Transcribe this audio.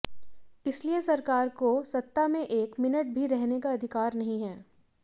इसलिए सरकार को सत्ता में एक मिनट भी रहने का अधिकार नहीं है